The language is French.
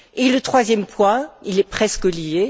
Le troisième point est presque lié.